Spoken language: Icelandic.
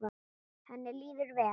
Henni líður vel?